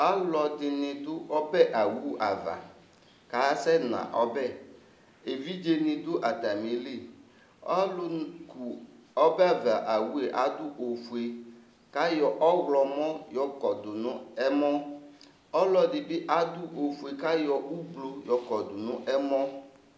Ɔlɔdini dʋ ɔbɛ owu'ava, kasɛna ɔbɛEvidze ni dʋ atamiliƆlu ku ɔbava owue adu ofue, kayɔ ɔɣlɔmɔ yɔkɔdu nʋ ɛmɔƆlɔdibi adʋ ofue kayɔ ʋblu yɔ kɔdu nʋ ɛmɔ